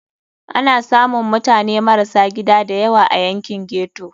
Ana samun mutane marasa gida da yawa a yankin ghetto.